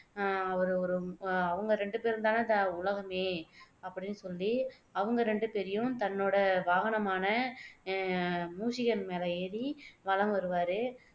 அஹ் அவரு ஒரு ஒரு அஹ் அவங்க ரெண்டு பேரும் தானேஉலகமே அப்படின்னு சொல்லி அவங்க ரெண்டு பேரையும் தன்னோட வாகனமான அஹ் மூஷிகன் மேல ஏறி வலம் வருவாரு